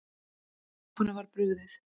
Stefáni var brugðið.